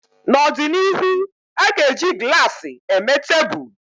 N'ọdịnihu, a ga-eji glaasi eme tebụl